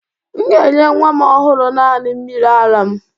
M ga-enye nwa m ọhụrụ naani mmiri ara m